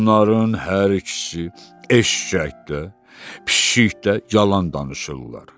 Onların hər ikisi, eşşək də, pişik də yalan danışırlar.